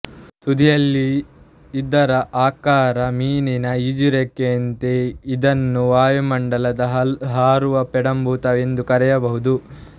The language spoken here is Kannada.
ತುದಿಯಲ್ಲಿ ಇದರ ಆಕಾರ ಮೀನಿನ ಈಜುರೆಕ್ಕೆಯಂತೆ ಇದನ್ನು ವಾಯುಮಂಡಲದ ಹಾರುವ ಪೆಡಂಭೂತ ಎಂದು ಕರೆಯಬಹುದು